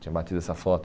Tinha batido essa foto.